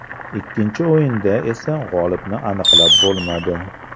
Ikkinchi o‘yinda esa g‘olibni aniqlab bo‘lmadi.